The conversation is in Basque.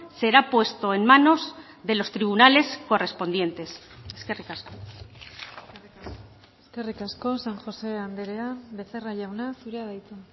será puesto en manos de los tribunales correspondientes eskerrik asko eskerrik asko san josé andrea becerra jauna zurea da hitza